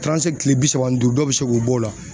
kile bi saba ni duuru, dɔw be se k'u b'o la